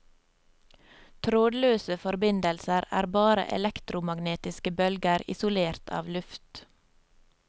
Trådløse forbindelser er bare elektromagnetiske bølger isolert av luft.